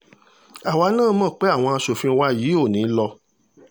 àwa náà mọ̀ pé àwọn aṣòfin wa yìí ò ní í lọ